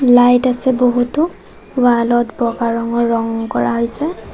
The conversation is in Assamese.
লাইট আছে বহুতো ৱাল ত বগা ৰঙৰ ৰং কৰা হৈছে।